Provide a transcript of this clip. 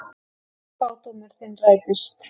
Spádómur þinn rættist.